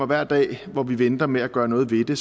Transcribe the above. hver dag hvor vi venter med at gøre noget ved det